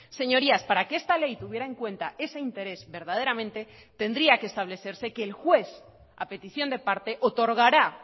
señorías para que esta ley tuviera en cuenta ese interés verdaderamente tendría que establecerse que el juez a petición de parte otorgará